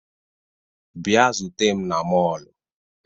Bịa zute m na mọọlụ!